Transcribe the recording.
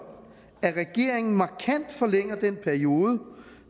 at regeringen markant forlænger den periode